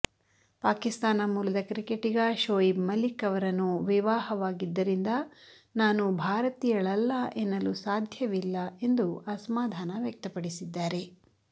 ಪಾಕಿಸ್ತಾನ ಮೂಲದ ಕ್ರಿಕೆಟಿಗ ಶೋಯಿಬ್ ಮಲಿಕ್ ಅವರನ್ನು ವಿವಾಹವಾಗಿದ್ದರಿಂದ ನಾನು ಭಾರತೀಯಳಲ್ಲ ಎನ್ನಲು ಸಾಧ್ಯವಿಲ್ಲ ಎಂದು ಅಸಮಾಧಾನ ವ್ಯಕ್ತಪಡಿಸಿದ್ದಾರೆ